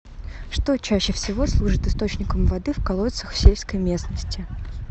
что чаще всего служит источником воды в колодцах в сельской местности